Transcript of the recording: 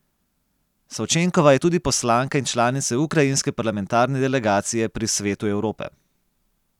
Savčenkova je tudi poslanka in članica ukrajinske parlamentarne delegacije pri Svetu Evrope.